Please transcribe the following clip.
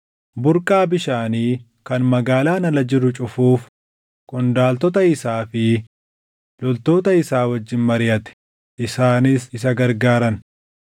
burqaa bishaanii kan magaalaan ala jiru cufuuf qondaaltota isaa fi loltoota isaa wajjin mariʼate; isaanis isa gargaaran.